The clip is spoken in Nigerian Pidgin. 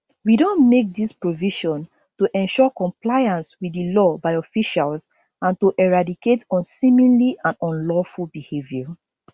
we don make dis provision to ensure compliance with di law by officials and to eradicate unseemly and unlawful behavior